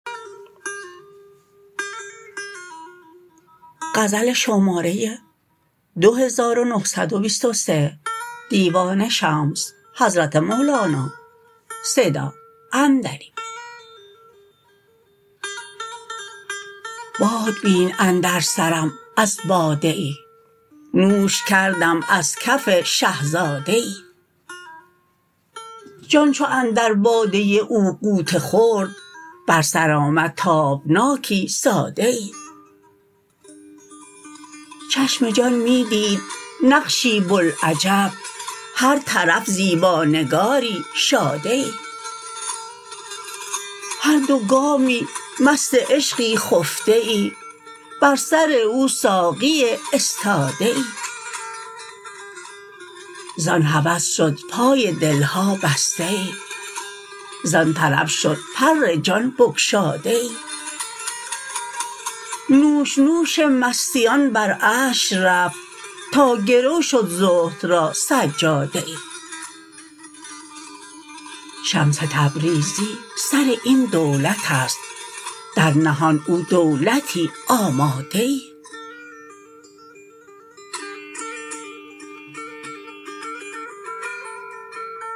باد بین اندر سرم از باده ای نوش کردم از کف شه زاده ای جان چو اندر باده او غوطه خورد بر سر آمد تابناکی ساده ای چشم جان می دید نقشی بوالعجب هر طرف زیبانگاری شاده ای هر دو گامی مست عشقی خفته ای بر سر او ساقیی استاده ای زان هوس شد پای دل ها بسته ای زان طرب شد پر جان بگشاده ای نوش نوش مستیان بر عرش رفت تا گرو شد زهد را سجاده ای شمس تبریزی سر این دولت است در نهان او دولتی آماده ای